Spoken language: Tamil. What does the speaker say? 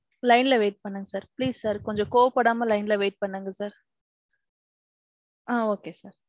line ல wait பன்னுங்க sir please sir. கொஞ்சோம் கோவ படாம line ல wai பன்னுங்க sir. ஆ okay sir.